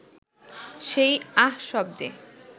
সেই আহ শব্দে